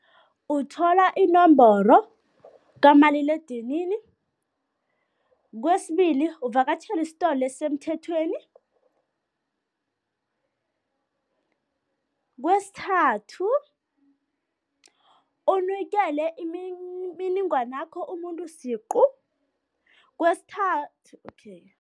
Uthola inomboro kamaliledinini, kwesibili, uvakatjhele isitolo esisemthethweni, kwesithathu, unikele imininingwanakho umuntu siqu, kwesithathu, okay.